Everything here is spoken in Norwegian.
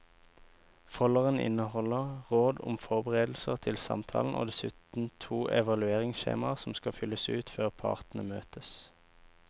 Folderen inneholder råd om forberedelser til samtalen og dessuten to evalueringsskjemaer som skal fylles ut før partene møtes.